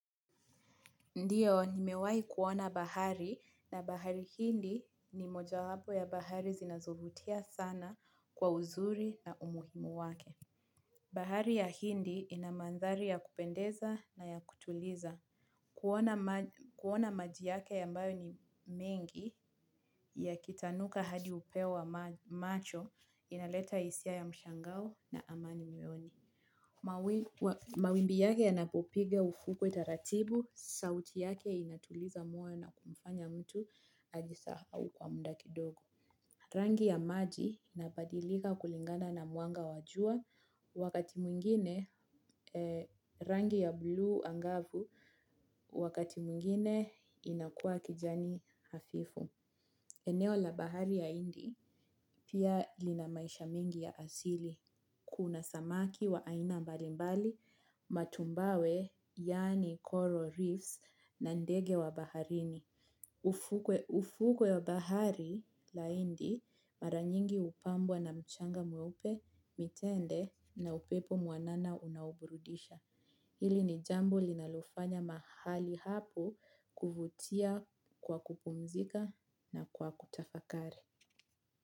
Ndiyo, nimewahi kuona bahari na bahari hindi ni moja wapo ya bahari zinazovutia sana kwa uzuri na umuhimu wake. Bahari ya hindi ina mandhari ya kupendeza na ya kutuliza. Kuona maji kuona maji yake ambayo ni mengi ya kita nuka hadi upeo wa macho inaleta hisia ya mshangao na amani moyoni. Mawimbi yake yanapopiga ufukwe taratibu, sauti yake inatuliza moyo na kumfanya mtu ajisahau kwa muda kidogo. Rangi ya maji inabadilika kulingana na mwanga wa jua wakati mwingine rangi ya bluu angavu wakati mwingine inakuwa kijani hafifu. Eneo la bahari ya hindi pia lina maisha mingi ya asili. Kuna samaki wa aina mbalimbali matumbawe yani coral reefs na ndege wa baharini. Ufukwe wa bahari la hindi mara nyingi hupambwa na mchanga mweupe, mitende na upepo mwanana unaoburudisha. Hili ni jambo linalofanya mahali hapo kuvutia kwa kupumzika na kwa kutafakari.